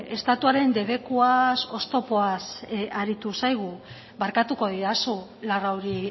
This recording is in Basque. estatuaren debekuaz oztopoaz aritu zaigu barkatuko didazu larrauri